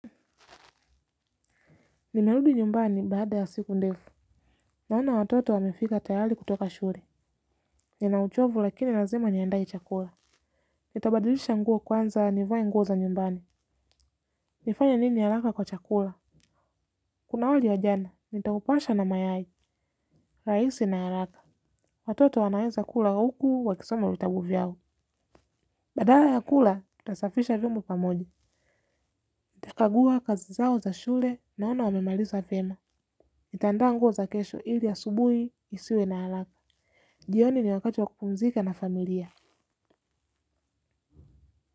Nimerudi nyumbani baada ya siku ndefu naona watoto wamefika tayali kutoka shure nina uchovu lakini lazima niandae chakula. Nitabadilisha nguo kwanza nivae nguo za nyumbani nifanye nini halaka kwa chakula kuna wali ya jana, nitaupasha na mayai. Raisi na halaka. Watoto wanaweza kula huku wakisoma vitabu vyao. Badala ya kula, tutasafisha vyombo pamoja. Nitakagua kazi zao za shule, naona wamemaliza vyema. Nitandaa nguo za kesho ili ya asubuhi nisiwe na halaka jioni ni wakati wa kupumzika na familia.